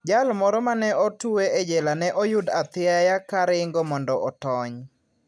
Jal moro ma ne otwe e jela ne oyud athiaya ka ringo mondo otony.